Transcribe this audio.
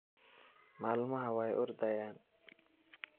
Malmaxa way ordhayan.